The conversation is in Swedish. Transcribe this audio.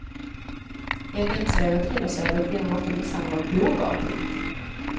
I agentserier och thrillerserier blir kvinnorna ofta misshandlade av bovar. punkt